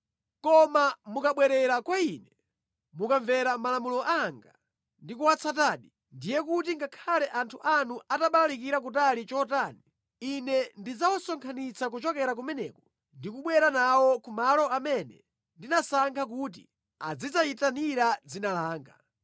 Koma mukabwerera kwa Ine, mukamvera malamulo anga ndi kuwatsatadi, ndiye kuti ngakhale anthu anu atabalalika kutali chotani, Ine ndidzawasonkhanitsa kuchokera kumeneko ndi kubwera nawo ku malo amene ndinasankha kuti azidzayitanira dzina langa.’